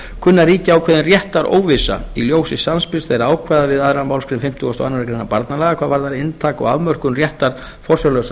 kunni að ríkja ákveðin réttaróvissa í ljósi samspils þeirra ákvæða við aðra málsgrein fimmtugustu og aðra grein barnalaga hvað varði inntak og afmörkun réttar forsjárlausra